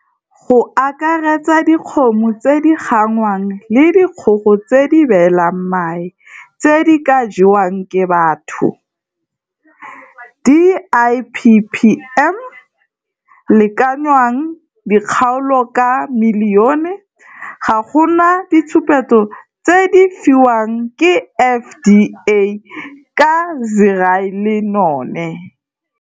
Go akaretsa dikgomo tse di gangwang le dikgogo tse di beelang mae tse di ka jewang ke batho, dippmm lekanoang dikgaolo ka milione, ga go na ditshupetso tse di fiwang ke FDA ka Zearalenone